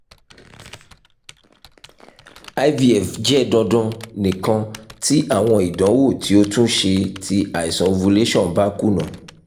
ivf jẹ dandan nikan ti awọn idanwo ti o tun ṣe ti iṣan ovulation ba kuna